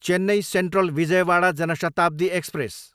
Chennai Central, Vijayawada Jan Shatabdi express